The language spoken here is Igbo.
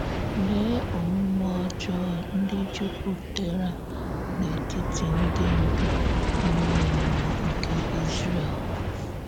Lèe ọ̀múmè ọ́jọọ ǹdí jùpùtèrà n’ètìtì ǹdí ndú ìmè mmúọ nke Ízrè̀l!